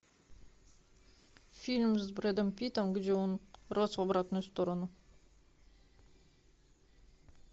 фильм с брэдом питтом где он рос в обратную сторону